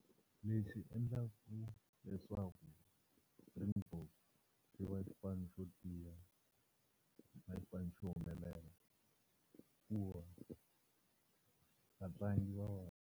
Leswi endlaku leswaku Springbok xi va xipano xo tiya, xi va xipano xo humelela i ku va vatlangi va .